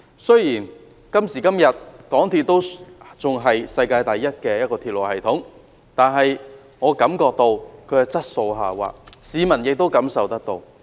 雖然港鐵仍然是世界第一的鐵路系統，但我感到它的質素下滑，市民亦感受得到。